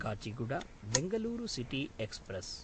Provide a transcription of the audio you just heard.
काचिगुडा–बेङ्गलूरुु city express